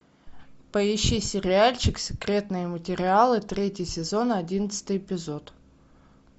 поищи сериальчик секретные материалы третий сезон одиннадцатый эпизод